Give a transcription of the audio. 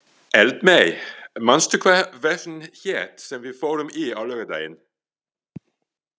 Eldmey, manstu hvað verslunin hét sem við fórum í á laugardaginn?